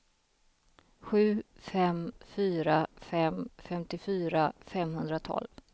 sju fem fyra fem femtiofyra femhundratolv